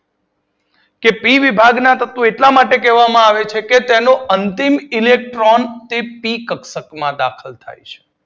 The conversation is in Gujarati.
કે પી વિભાગના તત્વો એટલા માટે કહેવામા આવે છે કે તેનો અંતિમ ઇલેક્ટ્રોન પી કક્ષક માં દાખલ થાય છે.